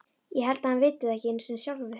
Ég held að hann viti það ekki einu sinni sjálfur.